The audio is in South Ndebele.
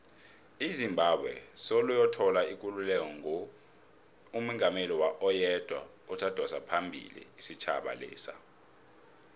izimbabwe soloyathola ikululeko ngo ibenomungameli oyedwa odosaphambili isitjhaba lesa